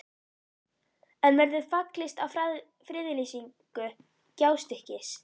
En verður fallist á friðlýsingu Gjástykkis?